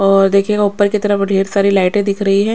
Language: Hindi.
और देखिएगा उपर की तरफ ढेर सारी लाइटे दिख रही है।